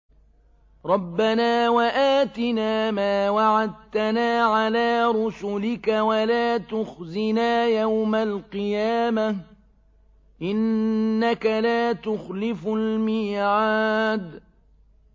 رَبَّنَا وَآتِنَا مَا وَعَدتَّنَا عَلَىٰ رُسُلِكَ وَلَا تُخْزِنَا يَوْمَ الْقِيَامَةِ ۗ إِنَّكَ لَا تُخْلِفُ الْمِيعَادَ